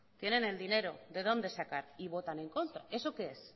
tienen el dinero de dónde sacar y votan en contra eso qué es